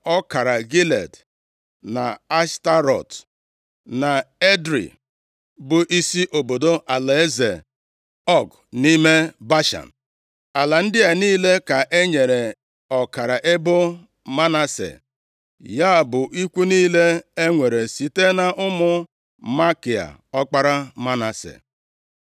ọkara Gilead, na Ashtarọt, na Edrei bụ isi obodo alaeze Ọg nʼime Bashan. Ala ndị a niile ka e nyere ọkara ebo Manase, ya bụ ikwu niile e nwere site nʼụmụ Makia, ọkpara Manase.